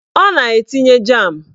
Ọ na-etinye jam